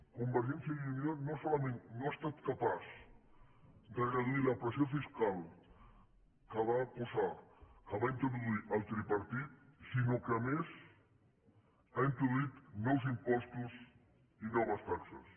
convergència i unió no solament no ha estat capaç de reduir la pressió fiscal que va posar que va introduir el tripartit sinó que a més ha introduït nous impostos i noves taxes